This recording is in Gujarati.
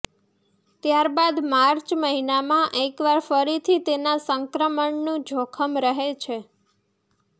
ત્યાર બાદ માર્ચ મહિનામાં એકવાર ફરીથી તેના સંક્રમણનું જોખમ રહે છે